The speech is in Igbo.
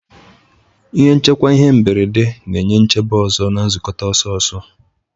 Ihe nchekwa ihe mberede na-enye nchebe ọzọ na nkukota ọsọ-ọsọ.